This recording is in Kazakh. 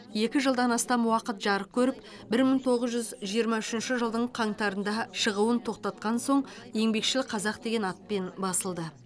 екі жылдан астам уақыт жарық көріп бір мың тоғыз жүз жиырма үшінші қаңтарда шығуын тоқтатқан соң еңбекшіл қазақ деген атпен басылды